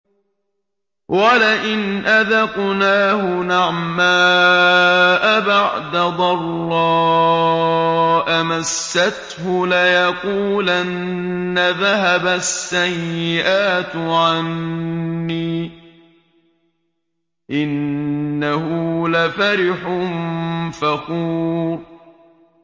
وَلَئِنْ أَذَقْنَاهُ نَعْمَاءَ بَعْدَ ضَرَّاءَ مَسَّتْهُ لَيَقُولَنَّ ذَهَبَ السَّيِّئَاتُ عَنِّي ۚ إِنَّهُ لَفَرِحٌ فَخُورٌ